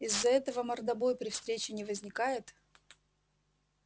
из-за этого мордобой при встрече не возникает